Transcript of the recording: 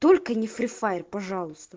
только не фри файр пожалуйста